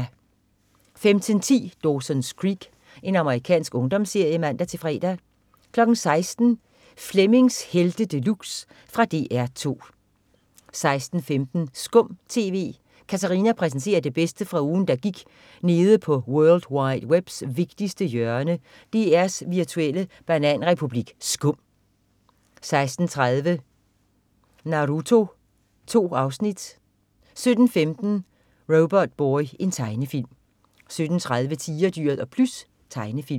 15.10 Dawson's Creek. Amerikansk ungdomsserie (man-fre) 16.00 Flemmings Helte De Luxe. Fra DR 2 16.15 Skum TV. Katarina præsenterer det bedste fra ugen der gik nede på world wide webs vigtigste hjørne, DRs virtuelle bananrepublik SKUM 16.30 Naruto. 2 afsnit 17.15 Robotboy. Tegnefilm 17.30 Tigerdyret og Plys. Tegnefilm